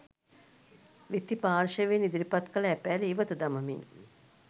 විත්ති පාර්ශ්වයෙන් ඉදිරිපත් කළ ඇපෑල ඉවත දමමින්